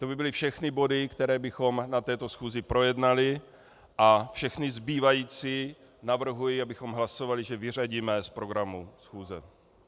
To by byly všechny body, které bychom na této schůzi projednali, a všechny zbývající navrhuji, abychom hlasovali, že vyřadíme z programu schůze.